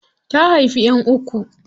Ta haifi ƴan uku.